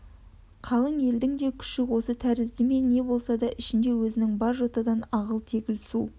қалың елдің де күші осы тәрізді ме не болса да ішінде өзінде бар жотадан ағыл-тегіл су